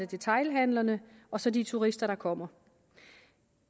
detailhandlerne og så de turister der kommer